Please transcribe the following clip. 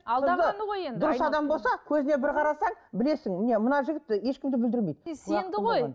алдағаны ғой енді дұрыс адам болса көзіне бір қарасаң білесің міне мына жігіт ешкімді бүлдірмейді сенді ғой